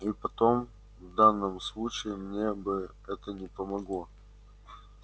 и потом в данном случае мне бы это не помогло